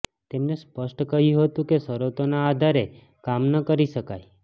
તેમને સ્પષ્ટ કહ્યું હતું કે શરતોના આધારે કામ ન કરી શકાય